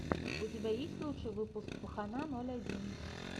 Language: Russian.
у тебя есть лучший выпуск пахана ноль один